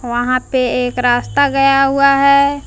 वहां पे एक रास्ता गया हुआ है।